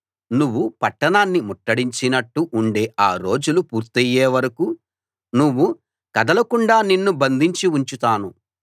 నువ్వు పట్టణాన్ని ముట్టడించినట్టు ఉండే ఆ రోజులు పూర్తయే వరకూ నువ్వు కదలకుండా నిన్ను బంధించి ఉంచుతాను